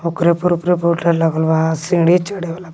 ओकरे पर लागल बा सीढ़ी चढ़े वाला --